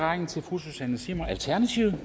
vi